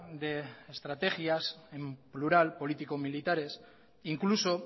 de estrategias en plural político militares incluso